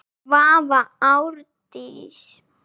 Svava Árdís.